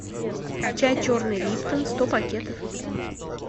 чай черный липтон сто пакетов